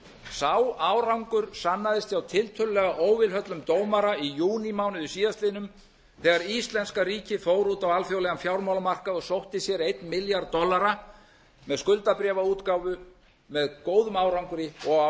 sá árangur sannaðist hjá tiltölulega óvilhöllum dómara í júnímánuði síðastliðnum þegar íslenska ríkið fór út á alþjóðlegan fjármálamarkað og sótti sér einn milljarð dollara með skuldabréfaútgáfu með góðum árangri og